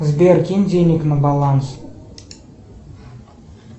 сбер кинь денег на баланс